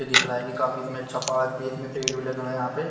दिख रहा है कि काफी मेंट छपा हुआ है कि इतने पेड़ भी लगे हुए है यहाँ पे--